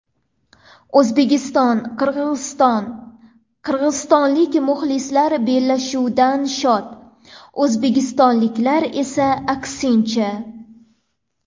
O‘zbekiston Qirg‘iziston: qirg‘izistonlik muxlislar bellashuvdan shod, o‘zbekistonliklar esa aksincha.